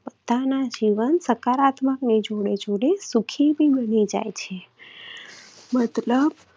બધાના જીવન સકારાત્મક ની જોડે જોડે સુખી પણ બની જાય છે. મતલબ